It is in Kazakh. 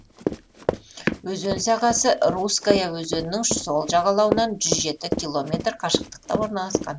өзен сағасы русская өзенінің сол жағалауынан жүз жеті километр қашықтықта орналасқан